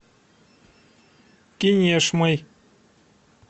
кинешмой